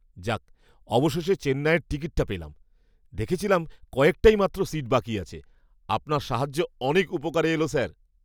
যাক! অবশেষে চেন্নাইয়ের টিকিটটা পেলাম। দেখেছিলাম কয়েকটাই মাত্র সিট বাকি আছে। আপনার সাহায্য অনেক উপকারে এলো স্যার।